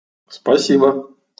спасибо